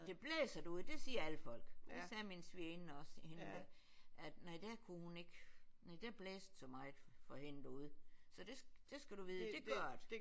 Det blæser derude det siger alle folk. Det sagde min svigerinde også hende der er nej der kunne hun ikke nej der blæste det så meget for hende derude. Så det skal du vide det gør det